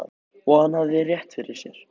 Og hann hafði rétt fyrir sér.